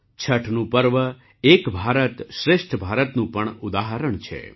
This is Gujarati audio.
છઠનું પર્વ એક ભારત શ્રેષ્ઠ ભારતનું પણ ઉદાહરણ છે